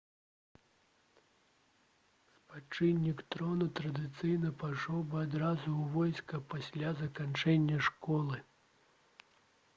спадчыннік трона традыцыйна пайшоў бы адразу ў войска пасля заканчэння школы